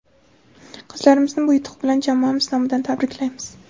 Qizlarimizni bu yutuq bilan jamoamiz nomidan tabriklaymiz.